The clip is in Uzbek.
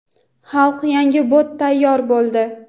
Xalq, yangi bot tayyor bo‘ldi.